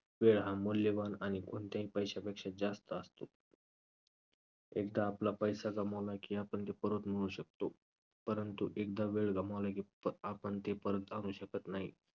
वेळ हा मौल्यवान आणि कोणत्याही पैशापेक्षा जास्त असतो. एकदा आपला पैसा गमावला की आपण तो परत मिळवू शकतो, परंतु एकदा वेळ गमावला की प~ आपण ती परत आणू शकत नाही.